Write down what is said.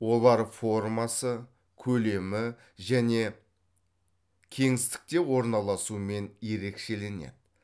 олар формасы көлемі және кеңістікте орналасуымен ерекшеленеді